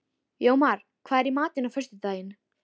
Jómar, hvað er í matinn á föstudaginn?